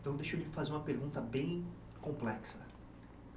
Então, deixa eu lhe fazer uma pergunta bem complexa.